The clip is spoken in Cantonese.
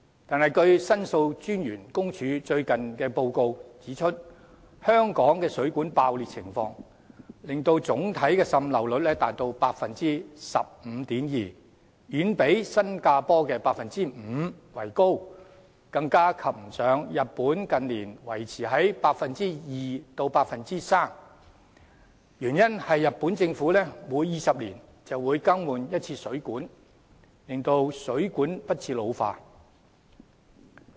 可是，申訴專員公署最近的報告指出，香港水管爆裂的情況令總體滲漏率達 15.2%， 遠比新加坡的 5% 為高，更不及日本近年維持在 2% 至 3% 的水平，原因是日本政府每20年便會更換一次水管，令水管不致老化。